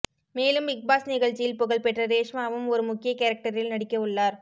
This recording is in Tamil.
மேலும் பிக்பாஸ் நிகழ்ச்சியில் புகழ்பெற்ற ரேஷ்மாவும் ஒரு முக்கிய கேரக்டரில் நடிக்க உள்ளார்